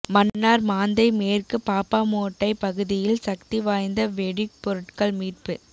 மன்னார் மாந்தை மேற்கு பாப்பாமோட்டை பகுதியில் சக்தி வாய்ந்த வெடி பொருட்கள் மீட்பு